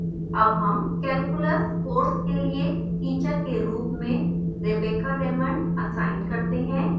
अब हम calculus course के लिए teacher के रूप में rebecca raymond असाइन करते हैं